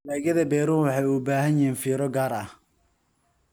Dalagyada beeruhu waxay u baahan yihiin fiiro gaar ah.